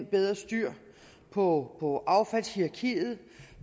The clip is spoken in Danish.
bedre styr på på affaldshierarkiet